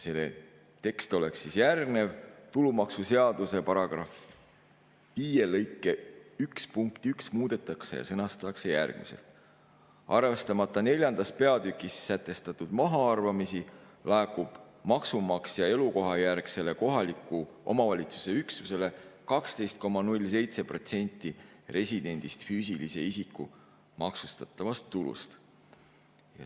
See tekst oleks järgmine, et tulumaksuseaduse § 5 lõike 1 punkti 1 muudetakse ja see sõnastatakse järgmiselt: arvestamata 4. peatükis sätestatud mahaarvamisi, laekub maksumaksja elukohajärgsele kohaliku omavalitsuse üksusele 12,07% residendist füüsilise isiku maksustatavast tulust.